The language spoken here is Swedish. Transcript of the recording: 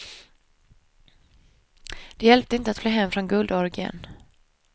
Det hjälpte inte att fly hem från guldorgien.